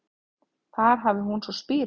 Þar hafi hún svo spírað